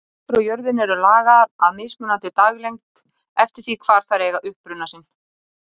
Plöntur á jörðu eru lagaðar að mismunandi daglengd eftir því hvar þær eiga uppruna sinn.